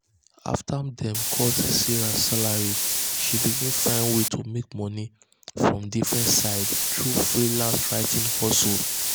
um after dem cut sarah salary she begin find way to um make money from different sides through freelance writing hustle.